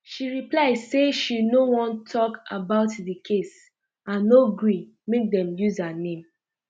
she reply say she no wan um tok about di case and no gree make dem use her name